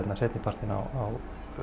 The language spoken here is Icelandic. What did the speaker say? seinni partinn á